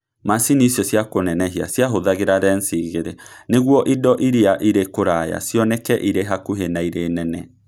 macini icio cia kũnenehia ciahũthagĩra lensi igĩrĩ nĩguo indo iria irĩ kũraya cioneke irĩ hakuhĩ na irĩ nene.